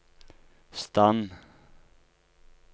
stand